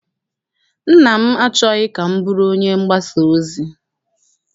Nna m achọghị ka m bụrụ onye mgbasa ozi.